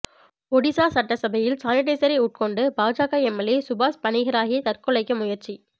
ஒடிசா சட்டசபையில் சானிடிசரை உட்கொண்டு பாஜக எம்எல்ஏ சுபாஷ் பனிகிராஹி தற்கொலைக்கு முயற்சி